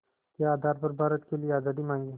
के आधार पर भारत के लिए आज़ादी मांगी